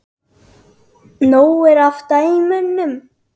Nóg er af dæmum.